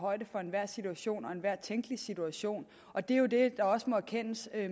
højde for enhver situation og enhver tænkelig situation og det er jo det der også må erkendes